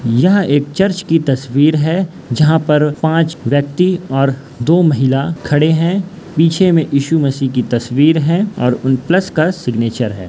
यह एक चर्च की तस्वीर है जहा पर पांच व्यक्ति और दो महिला खड़े है पीछे में इशू मसीह की तस्वीर है और प्लस का सिग्नेचर है।